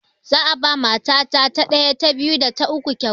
Za'a ba ma ta ɗaya, ta biyu, da ta uku kyauta.